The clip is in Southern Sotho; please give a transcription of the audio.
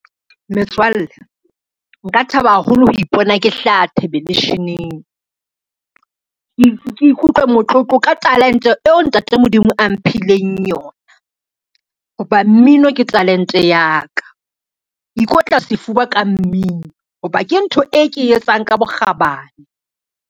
Metswalle, nka thaba haholo ho ipona ke hlaha thebelesheneng. Ke ikutlwe motlotlo ka talente eo ntate Modimo a mphe ileng yona, ho ba mmino ke talente ya ka. Ke ikotla sefuba ka mmino ho ba ke ntho e ke e etsang ka bokgabane.